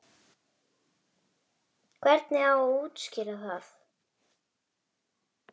Hvernig á að útskýra það?